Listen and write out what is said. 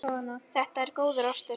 Þetta er góður ostur.